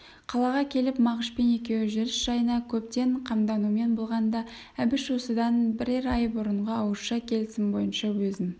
қалаға келіп мағышпен екеуі жүріс жайына көптен қамданумен болғанда әбіш осыдан бірер ай бұрынғы ауызша келісім бойынша өзін